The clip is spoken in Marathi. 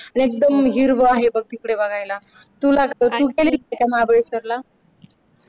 आणि एकदम हिरवा हे बघ तिकडे बघायला तुला तू गेली होती का महाबळेश्वरला